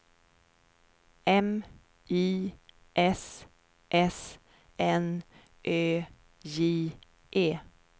M I S S N Ö J E